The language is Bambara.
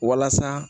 Walasa